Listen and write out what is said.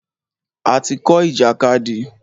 A ti kọ́ ìjàkadì.